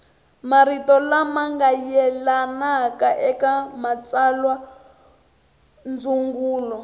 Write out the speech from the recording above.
marito lama yelanaka eka matsalwandzungulo